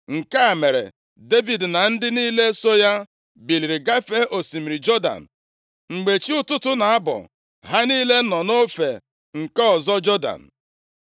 Nke a mere Devid na ndị niile so ya biliri gafee osimiri Jọdan. Mgbe chi ụtụtụ na-abọ, ha niile nọ nʼofe nke ọzọ Jọdan.